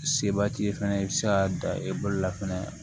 Seba t'i ye fɛnɛ i bɛ se ka dan e bolola fɛnɛ